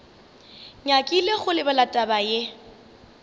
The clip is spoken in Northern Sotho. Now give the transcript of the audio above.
nyakile go lebala taba ye